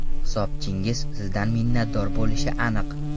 Hisobchingiz sizdan minnatdor bo‘lishi aniq.